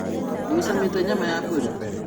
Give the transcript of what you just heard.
Nĩũcamĩte nyama ya mbũri?